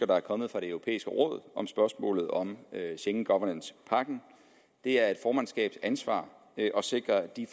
der er kommet fra det europæiske råd om spørgsmålet om schengen governance pakken det er et formandskabs ansvar at sikre at de